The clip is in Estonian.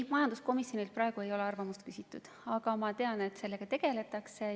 Ei, majanduskomisjonilt ei ole arvamust küsitud, aga ma tean, et sellega tegeldakse.